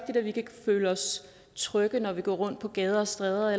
at vi kan føle os trygge når vi går rundt på gader og stræder